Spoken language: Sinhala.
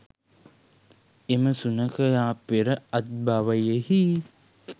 එම සුනඛයා පෙර අත්බවෙහි